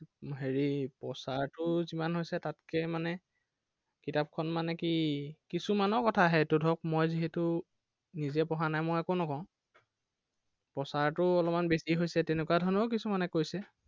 হেৰি প্ৰচাৰটো যিমান হৈছে তাতকে মানে, কিতাপখন মানে কি, কিছুমানৰ কথা হে এইটো ধৰক মই যিহেতো নিজে পঢ়া নাই মই একো নকওঁ। প্ৰচাৰটো অলপমান বেছি তেনেকুৱা ধৰণেও কিছুমানে কৈছে।